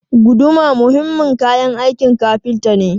Guduma muhimmin kayan aikin kafinta ne.